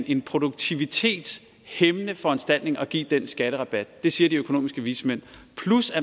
en produktivitetshæmmende foranstaltning at give den skatterabat det siger de økonomiske vismænd